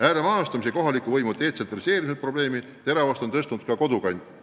Ääremaastumise ja kohaliku võimu detsentraliseerimise probleemi on tõstatanud ka Kodukant.